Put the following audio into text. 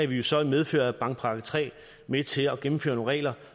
vi jo så i medfør af bankpakke iii med til at gennemføre nogle regler